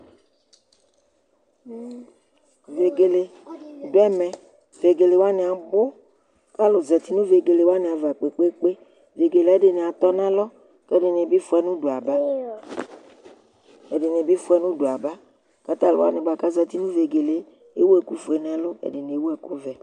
vɛgɛlɛ di dʋ ɛmɛ, vɛgɛlɛ wani abʋ kʋ alʋ zati nʋ vɛgɛlɛ wani aɣa kpekpekpe, vɛgɛlɛ wani ɛdi atɔnʋ alɔ kʋ ɛdinidi ƒʋanʋ ʋdʋ yaba, kʋ talʋ wani kʋ azati nʋ vɛgɛlɛ ɛwʋ ɛkʋ ƒʋɛ nʋ ʋldʋ ɛdini ɛwʋ ɛkʋ vɛ